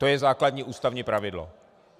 To je základní ústavní pravidlo.